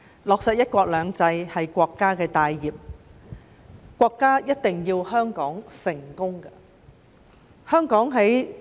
落實"一國兩制"，是國家的大業，國家一定要香港成功。